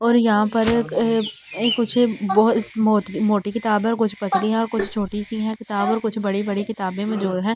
और यहां पर कुछ मोटी किताब है और कुछ पतली है और कुछ छोटी सी है किताब और कुछ बड़ी-बड़ी किताबें जो है।